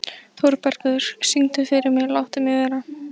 Þórbergur, syngdu fyrir mig „Láttu mig vera“.